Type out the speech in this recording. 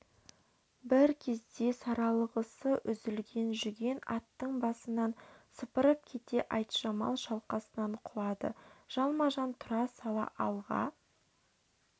бір кезде саралғысы үзілген жүген аттың басынан сыпырып кетті айтжамал шалқасынан құлады жалма-жан тұра сала алға